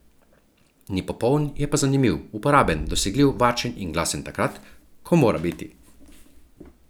Ni popoln, je pa zanimiv, uporaben, dosegljiv, varčen in glasen takrat, ko mora biti.